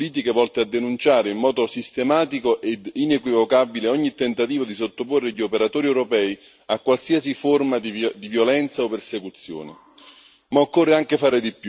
Il problema va affrontato adottando politiche volte a denunciare, in modo sistematico ed inequivocabile, ogni tentativo di sottoporre gli operatori europei a qualsiasi forma di violenza o persecuzione.